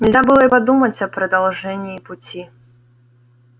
нельзя было и подумать о продолжении пути